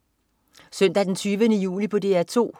Søndag den 20. juli - DR 2: